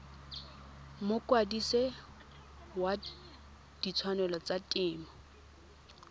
mokwadise wa ditshwanelo tsa temo